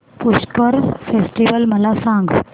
Pushkar festival मला सांग